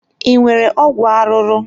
Ị nwere ọgwụ arụrụ?